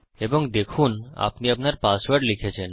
এবং দেখুন আপনি আপনার পাসওয়ার্ড লিখেছেন